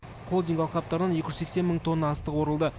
холдинг алқаптарынан екі жүз сексен мың тонна астық орылды